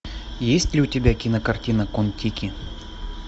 есть ли у тебя кинокартина кон тики